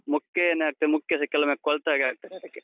ಮುಕ್ಕೆ ಏನಾಗ್ತದೆ, ಮುಕ್ಕೆಸ ಕೆಲವೊಮ್ಮೆ ಕೊಳ್ತಾಗೆ ಆಗ್ತದೆ ಅದಕ್ಕೆ.